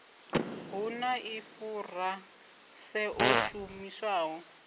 hu na ḽifurase ḽo shumiswaho